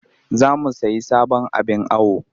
Za mu sayi sabon abin awo